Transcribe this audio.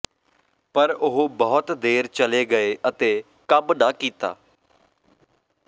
ਪਰ ਉਹ ਬਹੁਤ ਦੇਰ ਚਲੇ ਗਏ ਅਤੇ ਕੰਮ ਨਾ ਕੀਤਾ